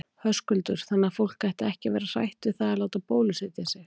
Höskuldur: Þannig að fólk ætti ekki að vera hrætt við það að láta bólusetja sig?